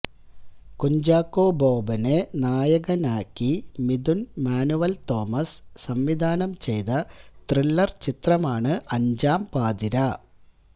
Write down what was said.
കുഞ്ചാക്കോ ബോബനെ നായകനാക്കി മിഥുൻ മാനുവൽ തോമസ് സംവിധാനം ചെയ്ത ത്രില്ലർ ചിത്രമാണ് അഞ്ചാം പാതിരാ